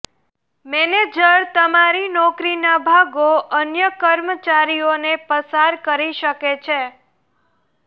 manager તમારી નોકરીના ભાગો અન્ય કર્મચારીઓને પસાર કરી શકે છે